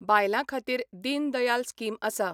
बायलां खातीर दीन दयाल स्कीम आसा.